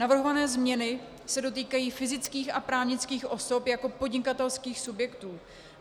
Navrhované změny se dotýkají fyzických a právnických osob jako podnikatelských subjektů.